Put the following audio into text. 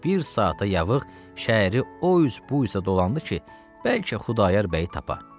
Və bir saata yaxın şəhəri o üz bu üzə dolandı ki, bəlkə Xudayar bəyi tapa.